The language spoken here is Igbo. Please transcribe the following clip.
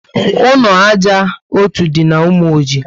Ụlọ ájá ọtọ dị na Umoji